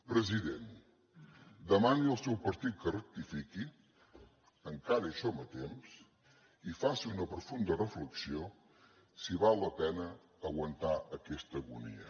president demani al seu partit que rectifiqui encara hi som a temps i faci una profunda reflexió sobre si val la pena aguantar aquesta agonia